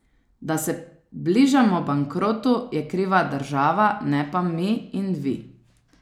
Da se bližamo bankrotu, je kriva država, ne pa mi in vi.